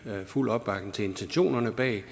fuld opbakning til intentionerne bag